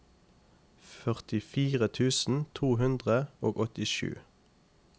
førtifire tusen to hundre og åttisju